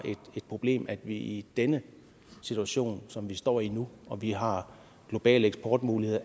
et problem at vi ikke i den situation som vi står i nu og vi har globale eksportmuligheder